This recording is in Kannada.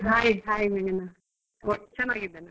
Hai hai ಮೇಘನಾ ಚನ್ನಾಗಿದ್ದೇನೆ.